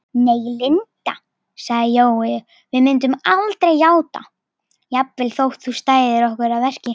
Nei, Linda sagði Jói, við myndum aldrei játa, jafnvel þótt þú stæðir okkur að verki